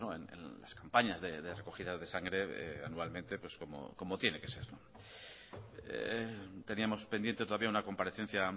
en las campañas de recogida de sangre anualmente como tiene que ser teníamos pendiente todavía una comparecencia